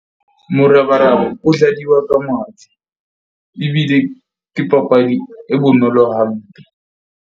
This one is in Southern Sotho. Morabaraba o dladiwa ka ebile ke papadi e bonolo hampe.